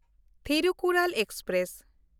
Thirukkural express